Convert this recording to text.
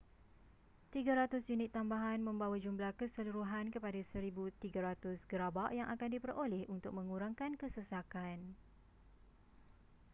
300 unit tambahan membawa jumlah keseluruhan kepada 1,300 gerabak yang akan diperoleh untuk mengurangkan kesesakan